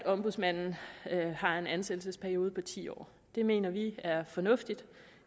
ombudsmanden har en ansættelsesperiode på ti år det mener vi er fornuftigt